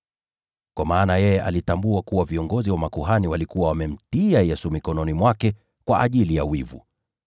Kwa maana yeye alitambua kuwa viongozi wa makuhani walikuwa wamemtia Yesu mikononi mwake kwa ajili ya wivu.